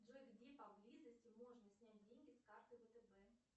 джой где поблизости можно снять деньги с карты втб